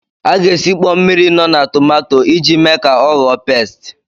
A ga-esikpọ mmiri nọ na tomato iji mee ka ọ ghọọ pesti.